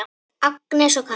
Agnes og Katla.